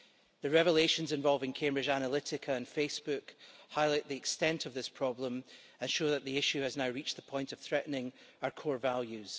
The revelations involving Cambridge Analytica and Facebook highlight the extent of this problem and show that the issue has now reached the point of threatening our core values.